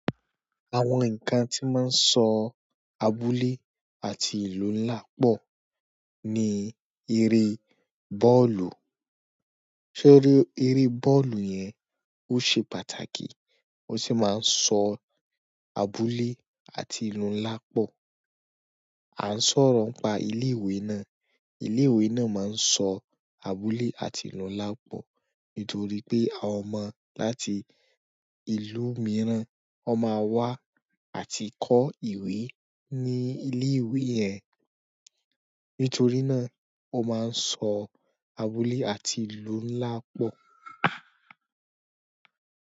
Àwọn nǹkan tí máa ń so abúlé àti ìlú ńlá pọ̀ ni eré bọ́ọ̀lù. Ṣé eré bọ́ọ̀lù yẹn ó ṣe pàtàkì ó sì máa ń sọ abúlé àti ìlú ńlá pọ̀? À ń sọ̀rọ̀ pa ilé ìwé náà, ilé ìwé náà máa ń sọ abúlé àti ìlú ńlá pọ̀ nítorí pé àwọn ọmọ láti ìlú mìíràn ó máa wá àti kọ́ ìwé ní ilé ìwé yẹn. Nítorí náà o maa n so abúlé àti ìlú ńlá po.